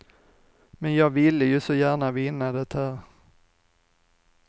Men jag ville ju så gärna vinna det här.